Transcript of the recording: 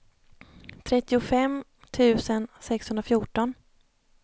trettiofem tusen sexhundrafjorton